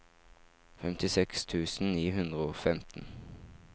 femtiseks tusen ni hundre og femten